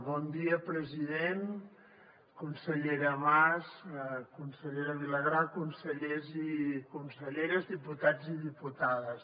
bon dia president consellera mas consellera vilagrà consellers i conselleres diputats i diputades